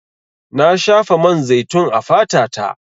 Na shafa man zaitun a fata ta.